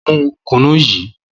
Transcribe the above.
Mu kùnú yìí!